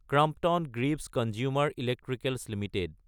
Crompton Greaves Consumer Electricals Ltd